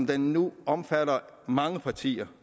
det nu omfatter mange partier